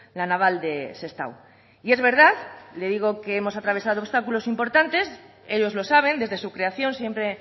la naval de sestao y es verdad le digo que hemos atravesado obstáculos importantes ellos lo saben desde su creación siempre